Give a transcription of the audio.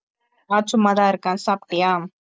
நான் சும்மாதான் இருக்கேன் சாப்டியா?